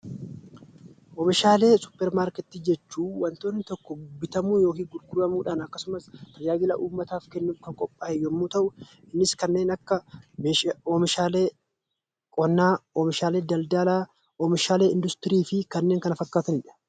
OOmishaalee suupparmaarkeetii jechuun nyaatamuudhaaf yookiin gurguramuudhaaf kan qophaaye yoo ta'u, innis kanneen akka oomishaalee qonnaa, daldalaa, industirii fi kanneen kana fakkatanidha.